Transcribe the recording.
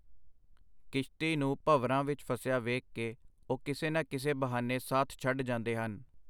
ਕਿਸ਼ਤੀ ਨੂੰ ਭੰਵਰਾਂ ਵਿਚ ਫਸਿਆ ਵੇਖ ਕੇ ਉਹ ਕਿਸੇ ਨਾ ਕਿਸੇ ਬਹਾਨੇ ਸਾਥ ਛੱਡ ਜਾਂਦੇ ਹਨ.